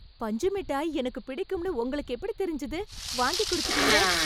பஞ்சு மிட்டாய் எனக்கு பிடிக்கும்னு உங்களுக்கு எப்டி தெரிஞ்சது? வாங்கி குடுத்துட்டீங்க...